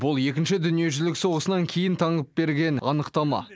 бұл екінші дүниежүзілік соғысынан кейін таңып берген анықтама